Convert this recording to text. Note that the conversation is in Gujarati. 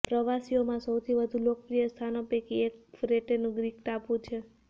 પ્રવાસીઓમાં સૌથી વધુ લોકપ્રિય સ્થાનો પૈકી એક ક્રેટેનું ગ્રીક ટાપુ છે